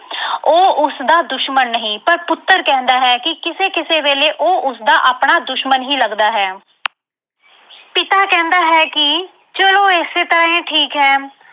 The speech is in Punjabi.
ਉਹ ਉਸਦਾ ਦੁਸ਼ਮਣ ਨਹੀਂ ਪਰ ਪੁੱਤਰ ਕਹਿੰਦਾ ਹੈ ਕਿ ਕਿਸੇ-ਕਿਸੇ ਵੇਲੇ ਉਹ ਉਸਦਾ ਆਪਣਾ ਦੁਸ਼ਮਣ ਹੀ ਲੱਗਦਾ ਹੈ ਪਿਤਾ ਕਹਿੰਦਾ ਹੈ ਕਿ ਚਲੋ ਇਸੇ ਤਰ੍ਹਾਂ ਹੀ ਠੀਕ ਹੈ